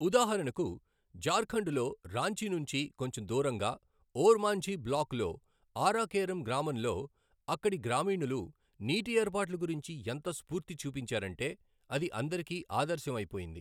ఉదాహరణకు ఝార్ ఖండ్ లో రాంచీ నుంచి కొంచెం దూరంగా ఓర్ మాంఝీ బ్లాక్ లో ఆరా కేరమ్ గ్రామంలో అక్కడి గ్రామీణులు నీటి ఏర్పాట్ల గురించి ఎంత స్ఫూర్తి చూపించారంటే, అది అందరికీ ఆదర్శం అయిపోయింది.